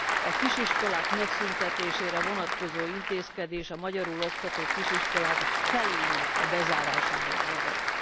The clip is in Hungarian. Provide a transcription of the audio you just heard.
A kisiskolák megszüntetésére vonatkozó intézkedés a magyarul oktató kisiskolák felének bezárásához vezet.